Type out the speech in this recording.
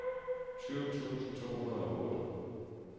tyve tusind to hundrede og otte